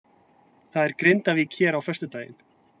Það er Grindavík hér á föstudaginn.